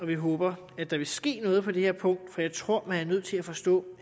vi håber at der vil ske noget på det her punkt for jeg tror at man er nødt til at forstå